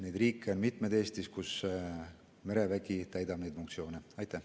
Neid riike on peale Eesti Euroopas mitmeid, kus merevägi neid funktsioone täidab.